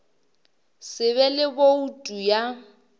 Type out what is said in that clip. se be le boutu ya